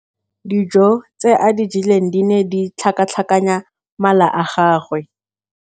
Dijô tse a di jeleng di ne di tlhakatlhakanya mala a gagwe.